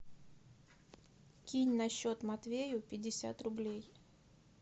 кинь на счет матвею пятьдесят рублей